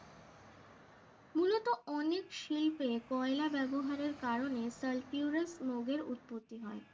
মূলত অনেক শিল্পে কয়লা ব্যবহারের কারণে talpura smog এর উৎপত্তি হয়